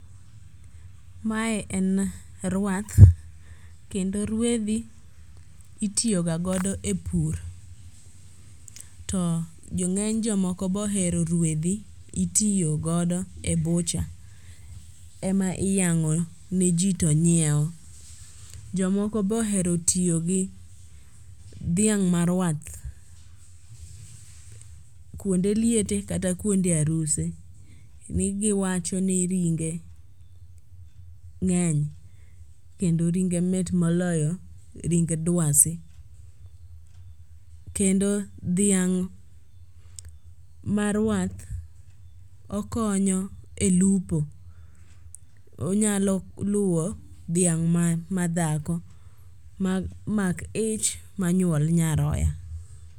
Mae en ruath kendo ruedhi itiyogagodo e pur to ng'eny jomoko bohero ruedhi ityogodo e bucha ema iyang'o ne ji to nyieo. Jomoko be ohero tiyo gi dhiang' maruath kuonde liete kata kuonde aruse ni giwacho ni ringe ng'eny kendo mit moloyo ring dwasi. Kendo dhiang' maruath okonyo e lupo, onyalo luwo dhiang' madhako ma mak ich ma nyuol nyaroya.